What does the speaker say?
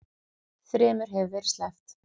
Þremur hefur verið sleppt